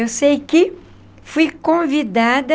Eu sei que fui convidada